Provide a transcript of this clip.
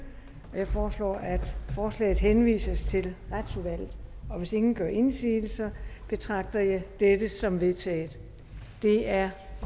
jeg foreslår at forslaget henvises til retsudvalget hvis ingen gør indsigelser betragter jeg dette som vedtaget det er